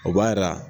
O b'a jira